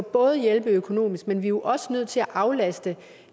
både hjælpe økonomisk men vi er også nødt til at aflaste